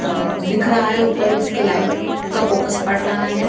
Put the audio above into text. और दिख रहा हैं ऊपर उसके लाइट का फोकस पड़ रहा हैं --